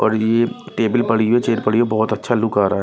और ये टेबल पड़ी हुई है चेयर पड़ी हुई है बहुत अच्छा लुक आ रहा है।